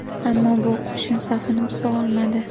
Ammo bu qo‘shin safini buza olmadi.